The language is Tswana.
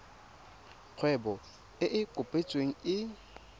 kgwebo e e kopetsweng e